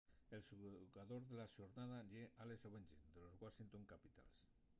el xugador de la xornada ye alex ovechkin de los washington capitals